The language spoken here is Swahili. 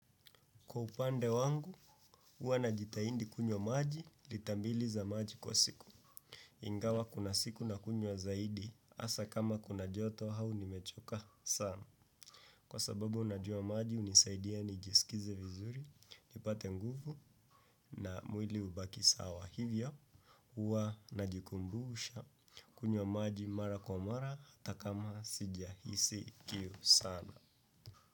Kwa upande wangu, huwa najitaindi kunywa maji, litambiliza maji kwa siku. Ingawa kuna siku na kunywa zaidi, asa kama kuna joto hau nimechoka sana. Kwa sababu unajua maji, unisaidia nijisikize vizuri, nipate nguvu na mwili ubaki sawa. Hivyo, uanajikumbuusha kunywa maji mara kwa mara, hatakama sijahisi kiu sana.